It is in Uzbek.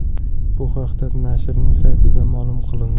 Bu haqda nashrning saytida ma’lum qilindi .